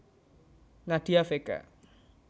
Nadia Vega